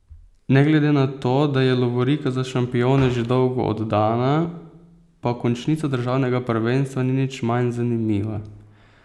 Ne glede na to, da je lovorika za šampione že dolgo oddana, pa končnica državnega prvenstva ni nič manj zanimiva.